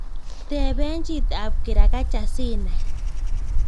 Teben chitab kirakacha sinai